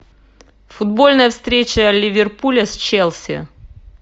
футбольная встреча ливерпуля с челси